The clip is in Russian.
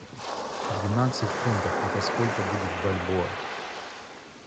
двенадцать фунтов это сколько будет в бальбоа